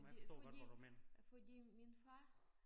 Fordi fordi fordi min far